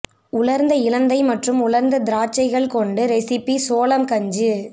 உலர்ந்த இலந்தைப் மற்றும் உலர்ந்த திராட்சைகள் கொண்டு ரெசிபி சோளம் கஞ்சி